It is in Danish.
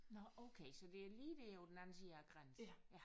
Nåh okay så det er lige der på den anden side af grænsen